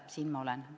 Siin ma olen.